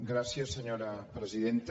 gràcies senyora presidenta